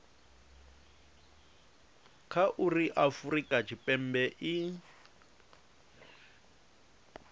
kha uri afurika tshipembe i